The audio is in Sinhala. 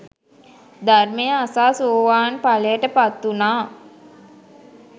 ධර්මය අසා සෝවාන් ඵලයට පත්වුණා